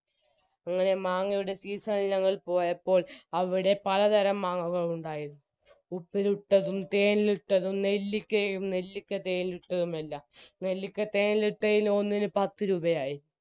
അങ്ങനെ മാങ്ങയുടെ season ഇൽ ഞങ്ങൾ പോയപ്പോൾ അവിടെ പലതരം മാങ്ങകൾ ഉണ്ടായിരുന്നു ഉപ്പിലിട്ടതും തേനിലിട്ടതും നെല്ലിക്കയും നെല്ലിക്കതേനിലിട്ടതും എല്ലാം നെല്ലിക്ക തേനിലിട്ടയിൽ ഒന്നിന് പത്തുരൂപയായി